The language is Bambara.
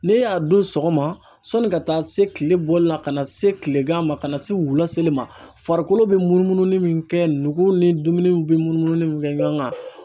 Ne y'a dun sɔgɔma sɔnni ka taa se kile bɔlila ka na se kilegan ma ka na se wula seli ma, farikolo be munumunu min kɛ nugu ni dumuniw be munni min kɛ ɲɔgɔn kan